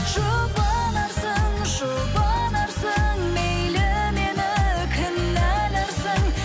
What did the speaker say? жұбанарсың жұбанарсың мейлі мені кінәларсың